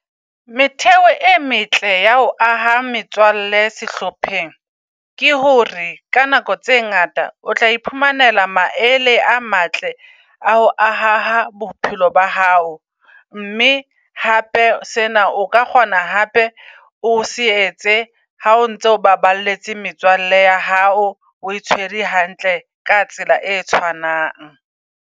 Metheo e metle ya ho aha metswalle sehlopheng. Ke hore ka nako tse ngata o tlae phumanela maele a matle a ho aha bophelo ba hao. Mme hape sena o ka kgona hape o se etse ha o ntse o baballetse metswalle ya hao. O e tshwere hantle ka tsela e tshwanang.